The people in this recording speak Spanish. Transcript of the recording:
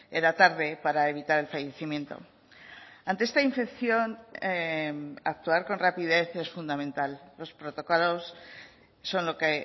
era tarde para evitar el fallecimiento ante esta infección actuar con rapidez es fundamental los protocolos son lo que